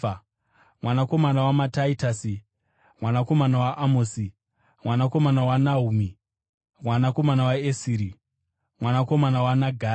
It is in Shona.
mwanakomana waMatatiasi, mwanakomana waAmosi, mwanakomana waNahumi, mwanakomana waEsiri, mwanakomana waNagai,